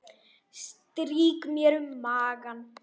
Strýk mér um magann.